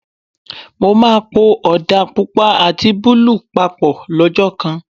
Mo máa po Ọ̀dà Pupa àti búlúù papọ̀ lọ́jọ́ kan.